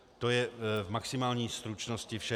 To je v maximální stručnosti vše.